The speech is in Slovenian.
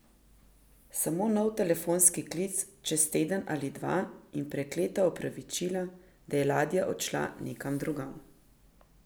Samo nov telefonski klic čez teden ali dva in prekleta opravičila, da je ladja odšla nekam drugam.